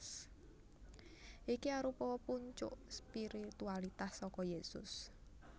Iki arupa puncuk spiritualitas saka Yésus